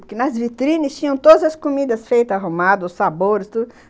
Porque nas vitrines tinham todas as comidas feitas, arrumadas, os sabores, tudo.